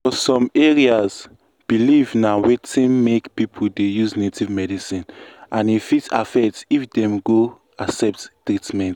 for some areas belief na wetin make people use native medicine and e fit affect if dem go accept treatment.